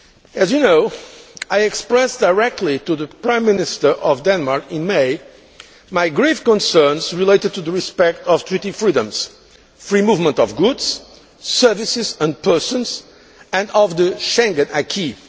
As you know, I expressed directly to the Prime Minister of Denmark, in May, my grave concerns relating to respect of Treaty freedoms free movement of goods, services and persons and of the Schengen acquis.